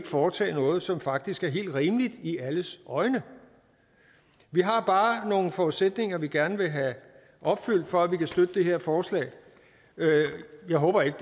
foretage noget som faktisk er helt rimeligt i alles øjne vi har bare nogle forudsætninger vi gerne vil have opfyldt for at vi kan støtte det her forslag jeg håber ikke